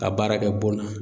Ka baara kɛ bon na